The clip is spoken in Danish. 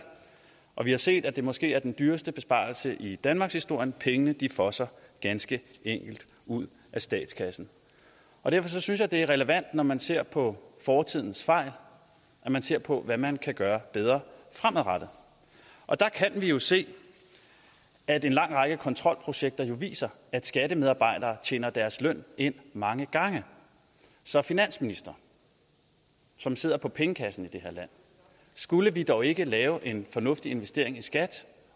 og vi har set at det måske er den dyreste besparelse i danmarkshistorien pengene fosser ganske enkelt ud af statskassen derfor synes jeg det er relevant når man ser på fortidens fejl at man ser på hvad man kan gøre bedre fremadrettet der kan vi jo se at en lang række kontrolprojekter viser at skattemedarbejdere tjener deres løn ind mange gange så finansminister som sidder på pengekassen i det her land skulle vi dog ikke lave en fornuftig investering i skat